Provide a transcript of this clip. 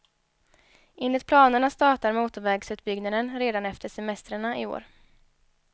Enligt planerna startar motorvägsutbyggnaden redan efter semestrarna i år.